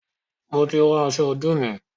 Mo ti rán aṣọ ọdún mi